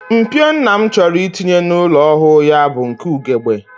Mpio nna m chọrọ itinye n'ụlọ ọhụụ ya bụ nke ugegbe